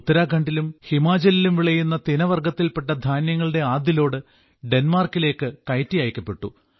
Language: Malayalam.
ഉത്തരാഖണ്ഡിലും ഹിമാചലിലും വിളയുന്ന തിന വർഗ്ഗത്തിൽപ്പെട്ട ധാന്യങ്ങളുടെ ആദ്യ ലോഡ് ഡെന്മാർക്കിലേക്ക് കയറ്റി അയക്കപ്പെട്ടു